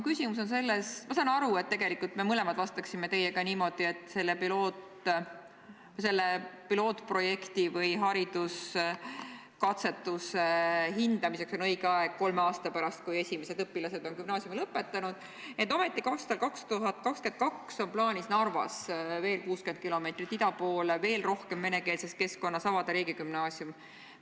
Ma saan aru, et tegelikult me mõlemad vastaksime teiega niimoodi, et selle pilootprojekti või hariduskatsetuse hindamiseks on õige aeg kolme aasta pärast, kui esimesed õpilased on gümnaasiumi lõpetanud, ent ometi 2022 on plaanis Narvas – veel 60 kilomeetrit ida poole, veel rohkem venekeelses keskkonnas – avada riigigümnaasium.